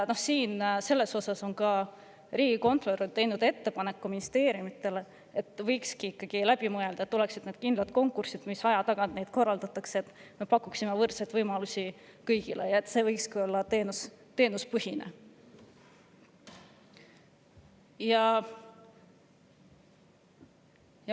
Selle kohta on ka riigikontrolör teinud ministeeriumidele ettepaneku, et võiks ikkagi läbi mõelda ja pakkuda võrdseid võimalusi kõigile; et oleksid kindlad konkursid, mida korraldatakse aja tagant ja et see võikski olla teenusepõhine.